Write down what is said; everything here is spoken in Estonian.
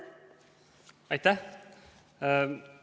Aitäh!